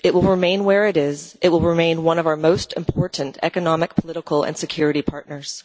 It will remain where it is, it will remain one of our most important economic, political and security partners.